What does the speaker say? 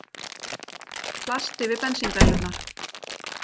Plast yfir bensíndælurnar